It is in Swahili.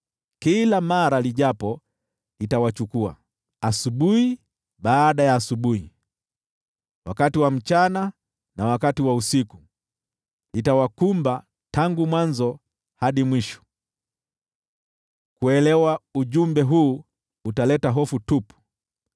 Kila mara lijapo litawachukua, asubuhi baada ya asubuhi, wakati wa mchana na wakati wa usiku, litawakumba tangu mwanzo hadi mwisho.” Kuuelewa ujumbe huu utaleta hofu tupu.